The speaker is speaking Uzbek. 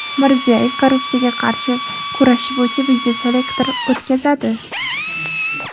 Mirziyoyev korrupsiyaga qarshi kurashish bo‘yicha videoselektor o‘tkazadi.